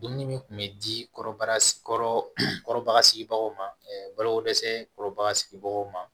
Dumuni min kun bɛ di kɔrɔbaya sigibagaw ma balo ko dɛsɛ kɔrɔba sigibagaw ma